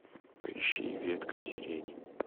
поищи ветка сирени